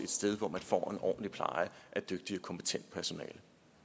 sted hvor man får en ordentlig pleje af et dygtigt og kompetent personale